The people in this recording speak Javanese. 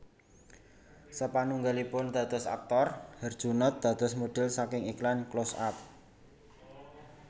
Sapanunggalipun dados aktor Herjunot dados modhel saking iklan Close Up